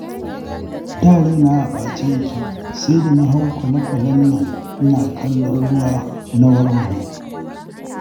Da raina a ɓace yake, sai da na hau kwale-kwalen nan ina kallon ruwa, na warware